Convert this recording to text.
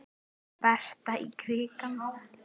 Berta í krikann?